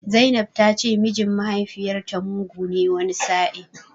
Zainab ta ce mijin mahaifiyarta mugu ne wani sa'in.